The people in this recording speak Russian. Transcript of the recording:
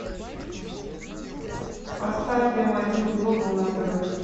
поставь м один глобал на тв